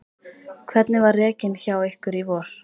Hvernig var rekinn hjá ykkur í vor?